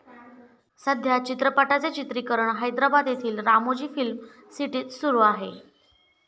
सध्या या चित्रपटाचे चित्रिकरण हैदराबाद येथील रामोजी फिल्म सिटीत सुरु आहे.